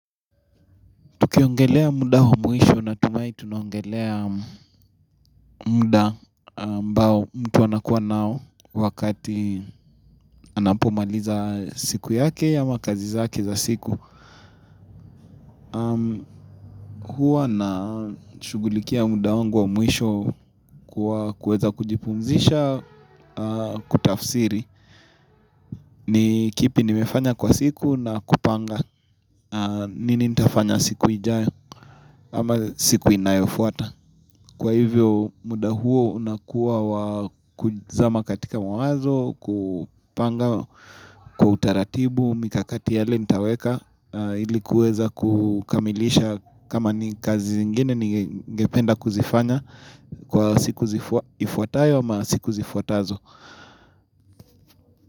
Tukiongelea muda wa mwisho natumai tunaongelea muda ambao mtu anakuwa nao wakati anapomaliza siku yake ama kazi zake za siku. Huwa nashughulikia muda wangu wa mwisho kwa kuweza kujipumzisha kutafsiri. Ni kipi nimefanya kwa siku na kupanga. Nini nitafanya siku ijayo ama siku inayofuata. Kwa hivyo muda huo unakuwa wakuzama katika mawazo, kupanga kwa utaratibu, mikakati yale nitaweka ili kuweza kukamilisha kama ni kazi zingine ningependa kuzifanya kwa siku zifuatayo ama siku zifuatazo.